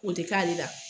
O tɛ k'ale la